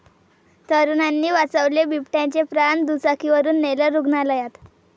तरुणांनी वाचवले बिबट्याचे प्राण, दुचाकीवरुन नेलं रुग्णालयात!